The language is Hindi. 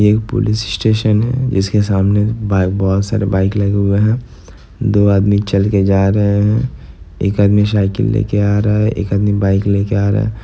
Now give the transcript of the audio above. एक पुलिस स्टेशन है जिसके सामने ब-बहुत सारे बाइक लगे हुए हैं दो आदमी चल के जा रहे हैं एक आदमी साइकिल ले के आ रहा है एक आदमी बाइक ले के आ रहा है।